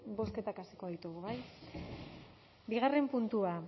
bozketak hasiko ditugu bai bigarren puntua